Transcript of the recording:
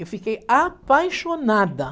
Eu fiquei apaixonada.